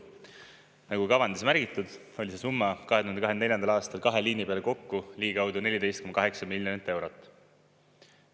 Nagu kavandis märgitud, oli see summa 2024. aastal kahe liini peale kokku ligikaudu 14,8 miljonit eurot.